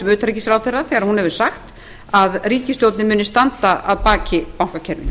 utanríkisráðherra þegar hún hefur sagt að ríkisstjórnin muni standa að baki bankakerfinu